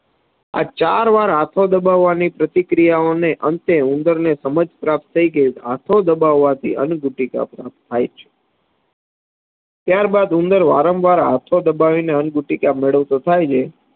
આ ચાર વાર હાથો દબાવવાની પ્રતિ ક્રિયાઓને અંતે ઉંદરને સમજ પ્રાપ્ત થઇ ગઈ હાથો દબાવવાથી અંગઉટાઈક પ્રાપ્ત થાય છે. ત્યારબાદ ઉંદર વાર્મ વાર હાથો દબાવીને અંગુટિકા મેળવતો થાય છે.